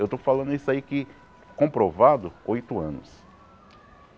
Eu estou falando isso aí que, comprovado, oito anos.